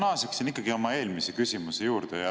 Ma naasen ikkagi oma eelmise küsimuse juurde.